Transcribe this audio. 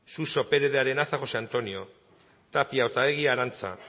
suso pérez de arenaza josé antonio tapia otaegi arantxa